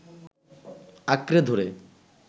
আঁকড়ে ধরে